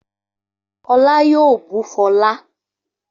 Olá yoo bú fọlá